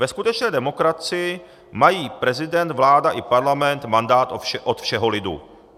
Ve skutečné demokracii mají prezident, vláda i parlament mandát od všeho lidu.